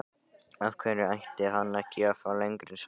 Af hverju ætti hann ekki að fá lengri samning?